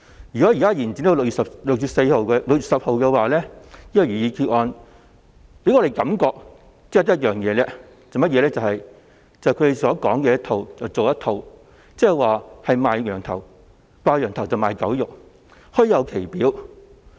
如果這項旨在延展有關規例審議期至6月10日的擬議決議案獲通過，我們只有一種感覺，就是他們"講一套、做一套"，即"掛羊頭賣狗肉"，表裏不一。